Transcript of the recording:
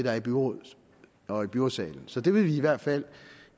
er i byrådet og byrådssalen så det vil vi i hvert fald